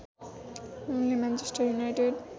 उनले Manchester United